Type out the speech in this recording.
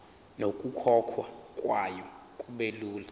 nokukhokhwa kwayo kubelula